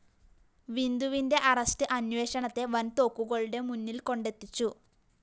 വിന്ധുവിന്റെ arrest അന്വേഷണത്തെ വന്‍തോക്കുകളുടെ മുന്നില്‍കൊണ്ടെത്തിച്ചു